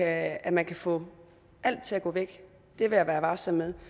at at man kan få alt til at gå væk vil jeg være varsom med